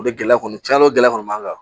O de gɛlɛya kɔni caa o gɛlɛya kɔni b'an kan